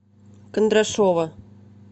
кондрашова